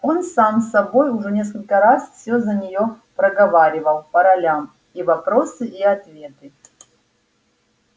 он сам с собой уже несколько раз всё за неё проговаривал по ролям и вопросы и ответы